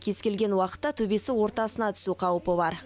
кез келген уақытта төбесі ортасына түсу қаупі бар